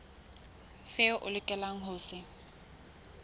seo o lokelang ho se